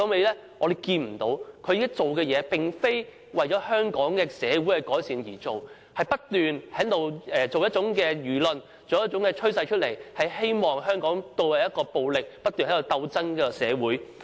他現在所做的事，並非為了改善香港社會，而是不斷地製造輿論和趨勢，希望將香港導向暴力、不斷鬥爭的社會。